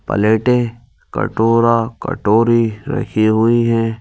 प्लेटें कटोरा कटोरी रखी हुईं हैं।